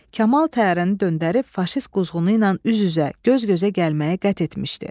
Kamal təyyarəni döndərib, faşist quzğunu ilə üz-üzə, göz-gözə gəlməyi qət etmişdi.